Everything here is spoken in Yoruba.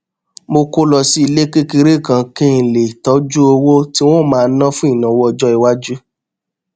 mo kó lọ sílé kékeré kan kí n lè tójú owó tí n ó máa ná fún ìnáwó ọjó iwájú